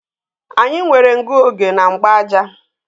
Anyị nwere ngụoge na mgbaaja